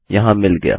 यहाँ मिल गया